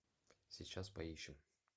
сейчас поищем